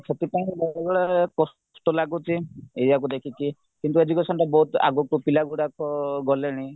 ସବୁବେଳେ କଷ୍ଟ ଲାଗୁଛି ଏଇୟାକୁ ଦେଖିକି କିନ୍ତୁ educationରେ ବହୁତ ଆଗକୁ ପିଲାଗୁଡାକ ଗଲେଣି